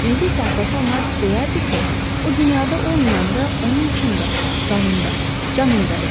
İndi isə atası ona deyərdi ki, o dünyada olmayanda onun içində, qanında, canında idi.